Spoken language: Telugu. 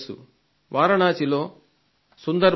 వారణాసిలో సందర్ పూర్ నివాసి